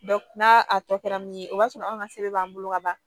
n'a a tɔ kɛra min ye o b'a sɔrɔ anw ka sɛbɛn b'an bolo ka ban